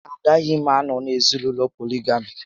Agaghị m anọ n'ezinaụlọ polygamy